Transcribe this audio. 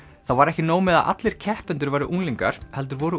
það var ekki nóg með að allir keppendur væru unglingar heldur voru